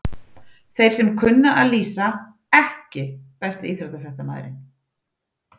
Þeir sem kunna að lýsa EKKI besti íþróttafréttamaðurinn?